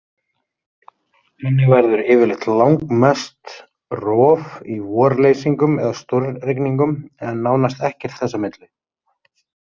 Þannig verður yfirleitt langmest rof í vorleysingum eða stórrigningum, en nánast ekkert þess á milli.